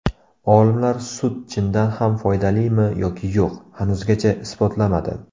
Olimlar sut chindan ham foydalimi yoki yo‘q, hanuzgacha isbotlamadi.